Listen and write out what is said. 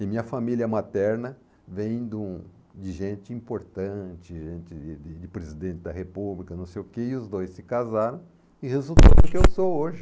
E minha família materna vem de um de gente importante, gente de de de presidente da república, não sei o que, e os dois se casaram e resultou no que eu sou hoje.